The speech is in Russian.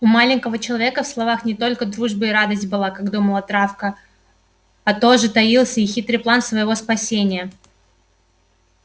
у маленького человека в словах не только дружба и радость была как думала травка а тоже таился и хитрый план своего спасения